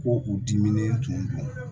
Ko k'u diminen tumu don